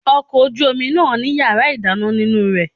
Ọkọ̀ ojú omi náà ní yàrá ìdáná nínú rẹ̀.